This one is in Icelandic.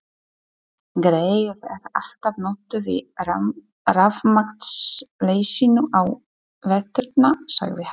Greyið er alltaf notuð í rafmagnsleysinu á veturna sagði hann.